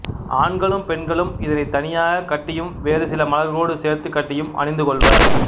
ஆண்களும் பெண்களும் இதனைத் தனியாகக் கட்டியும் வேறு சில மலர்களோடு சேர்த்துக் கட்டிடியும் அணிந்துகொள்வர்